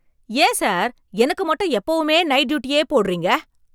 ஏன் சார், எனக்கு மட்டும் எப்பவுமே நைட்டு டியூட்டியே போடறீங்க?